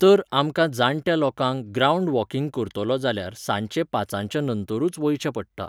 तर आमकां जाणट्या लोकांक ग्रावंड वॉकिंग करतलो जाल्यार सांजचें पांचाच्या नंतरूच वयचें पडटा.